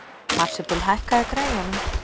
Marsibil, hækkaðu í græjunum.